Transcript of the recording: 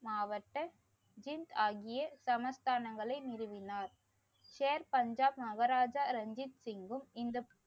மாவட்ட ஜிங் ஆகிய சமஸ்தானங்களை நிறுவினார். சேர்பஞ்சாப் மகாராஜா ரஞ்சித்சிங்கும் இந்த